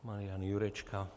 Marian Jurečka.